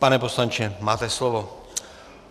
Pane poslanče, máte slovo.